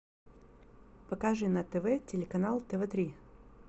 покажи на тв телеканал тв три